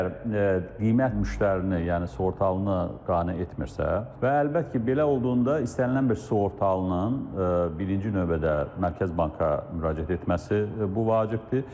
Əgər qiymət müştərini, yəni sığortalını qane etmirsə, və əlbəttə ki, belə olduqda istənilən bir sığortalının birinci növbədə Mərkəz banka müraciət etməsi bu vacibdir.